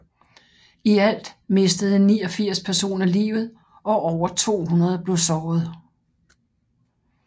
I alt mistede 89 personer livet og over 200 blev såret